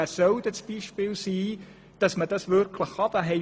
Wer soll das Beispiel sein, dass man das wirklich kann?